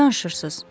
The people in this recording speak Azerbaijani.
Nə danışırsız?